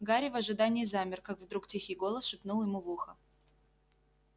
гарри в ожидании замер как вдруг тихий голос шепнул ему в ухо